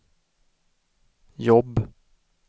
jobb